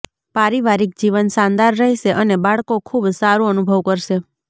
પારિવારિક જીવન શાનદાર રહેશે અને બાળકો ખુબ સારું અનુભવ કરશે